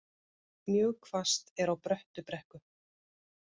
Mjög hvasst er á Bröttubrekku